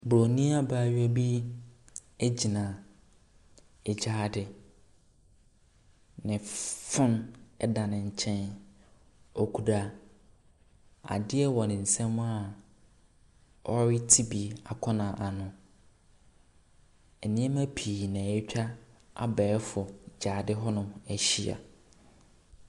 Buronyi abaayewa bi gyina agyaade. Na phone da ne nkyɛn. Okura adeɛ wɔ ne nsam a ɔrete bi akɔ n'ano. Nneɛma pii na atwa abɛɛfo gyaade hɔnom ahyia.